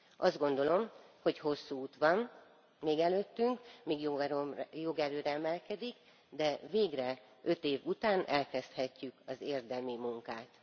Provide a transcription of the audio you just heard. Azt gondolom, hogy hosszú út van még előttünk, míg jogerőre emelkedik, de végre öt év után elkezdhetjük az érdemi munkát.